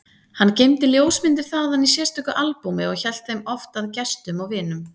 Hann geymdi ljósmyndir þaðan í sérstöku albúmi og hélt þeim oft að gestum og vinum.